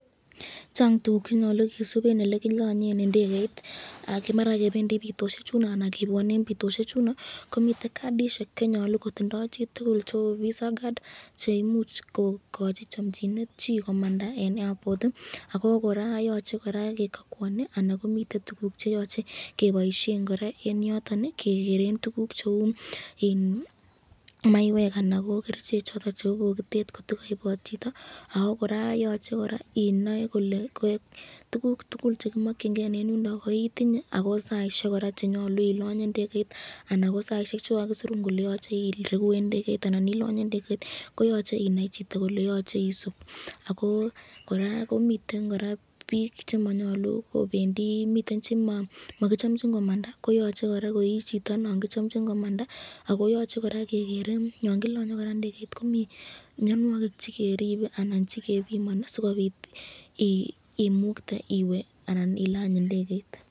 Chang tukuk chenyalu kisub eng elekilanyen ndegeit, maran kebendi bitosyechuno anan kebwane eng pitoshechundo komiten cadishek, chenyalu kotindo chitukul cheu visa card cheimuch kokochi chamchinet chi komanda eng airport ako koraa koyache koraa kekakuani anan komiten tukuk cheyochei keboisyen koraa